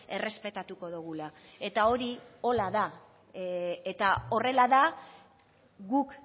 errespetatuko dugula eta hori horrela da eta horrela da guk